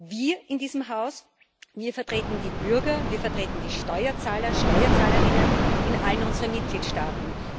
Wir in diesem Haus vertreten die Bürger, wir vertreten die Steuerzahler und Steuerzahlerinnen in allen unseren Mitgliedstaaten.